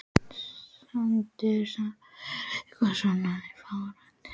Sindri Sindrason: Er eitthvað svona í farvatninu?